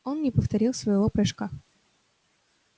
он не повторил своего прыжка